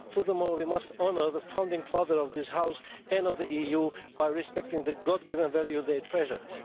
Furthermore, we must honour the founding fathers of this House and of the EU by respecting the God given values they treasured.